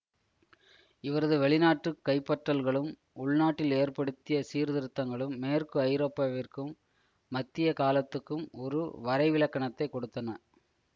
இவரது வெளிநாட்டு கைப்பற்றல்களும் உள்நாட்டில் ஏற்படுத்திய சீர்திருத்தங்களும் மேற்கு ஐரோப்பாவிற்கும் மத்திய காலத்துக்கும் ஒரு வரைவிலக்கணத்தை கொடுத்தன